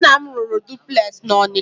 Nna m rụrụ dupules na Ọnịcha.